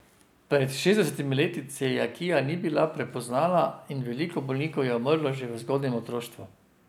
Pred šestdesetimi leti celiakija ni bila prepoznana in veliko bolnikov je umrlo že v zgodnjem otroštvu.